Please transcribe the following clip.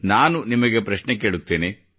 ನಾನು ನಿಮಗೆ ಪ್ರಶ್ನೆ ಕೇಳುತ್ತೇನೆ